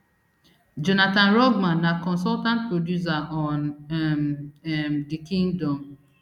jonathan rugman na consultant producer on um um the kingdom